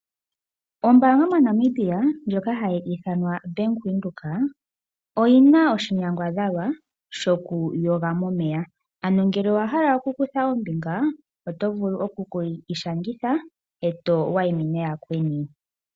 Ombanga moNamibia ndjoka hayi ithanwa OBank Windhoek oyi na oshinyangadhalwa shokuyoga momeya ano ngele owa hala okukutha ombinga oto vulu okukiishangitha e to wayimine yakweni.